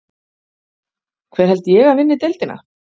Hver held ég að vinni deildina?